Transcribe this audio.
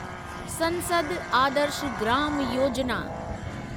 संसद आदर्श ग्राम योजिना